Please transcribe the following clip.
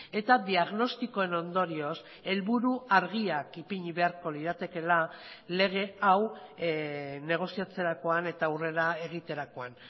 eta diagnostikoen ondorioz helburu argiak ipini beharko liratekeela lege hau negoziatzerakoan eta aurrera egiterakoan